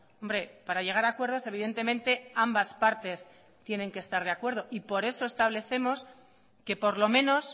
hombre para llegar a acuerdos evidentemente ambas partes tienen que estar de acuerdo y por eso establecemos que por lo menos